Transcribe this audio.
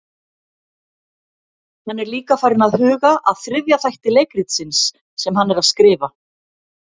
Hann er líka farinn að huga að þriðja þætti leikritsins sem hann er að skrifa.